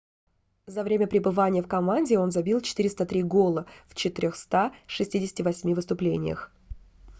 за время пребывания в команде он забил 403 гола в 468 выступлениях